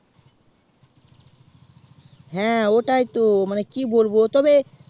হ্যাঁ ওটাই তো কি বলবো মানে তবে